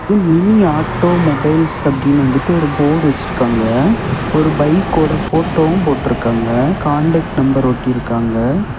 இது mini auto mobiles அப்படின்னு வந்துட்டு ஒரு போர்டு வச்சிருக்காங்க ஒரு பைக்கோட போட்டோவும் போட்ருக்காங்க காண்டாக்ட் நம்பர் ஒட்டி இருக்காங்க.